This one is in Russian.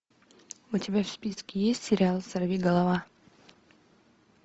у тебя в списке есть сериал сорвиголова